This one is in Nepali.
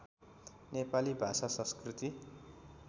नेपाली भाषा संस्कृति